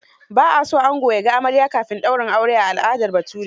Ba a so ango ya ga amarya kafin daurin aure a al'adar Bature.